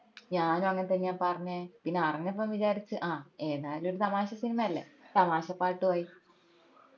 ഞാനു അങ്ങനെ തെന്നെയാപ്പ അറിഞ്ഞേ പിന്നെ അറിഞ്ഞപ്പോ വിചാരിച് എതാലും ഒരു തമാശ സിനിമ അല്ലെ തമാശ പാട്ടും ആയി